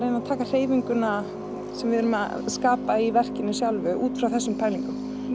að taka hreyfinguna sem við erum að skapa í verkinu sjálfu út frá þessum pælingum